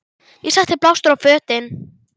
Ég setti blástur á fötin.